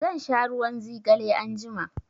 Zan sha ruwan zigale anjima.